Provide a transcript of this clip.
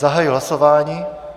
Zahajuji hlasování.